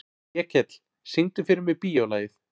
Vékell, syngdu fyrir mig „Bíólagið“.